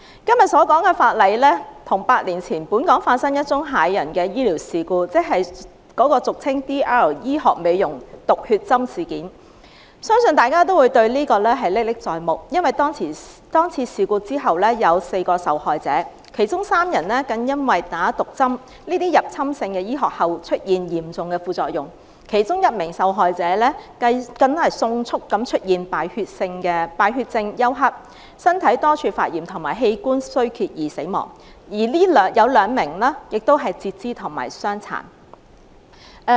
今天所說的法例修訂源於8年前本港發生的一宗駭人醫療事故，即 DR 醫學美容集團毒血針事件，相信大家對此事仍歷歷在目，因為那次事故有4名受害人，其中3人更因注射了毒針，這種入侵性的醫學療程後出現嚴重的副作用，其中一名受害人更迅速出現敗血症休克，身體多處發炎及器官衰竭而死亡，有兩名受害人需要截肢，造成永久傷殘。